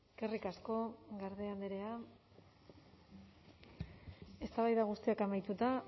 eskerrik asko garde andrea eztabaida guztiak amaituta